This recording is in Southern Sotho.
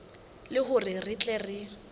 le hore re tle re